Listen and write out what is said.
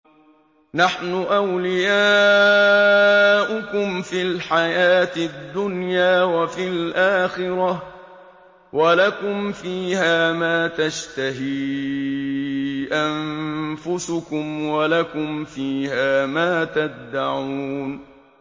نَحْنُ أَوْلِيَاؤُكُمْ فِي الْحَيَاةِ الدُّنْيَا وَفِي الْآخِرَةِ ۖ وَلَكُمْ فِيهَا مَا تَشْتَهِي أَنفُسُكُمْ وَلَكُمْ فِيهَا مَا تَدَّعُونَ